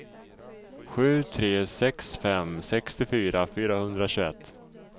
sju tre sex fem sextiofyra fyrahundratjugoett